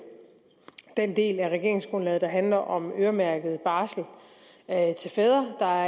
den del af regeringsgrundlaget der handler om øremærket barsel til fædre der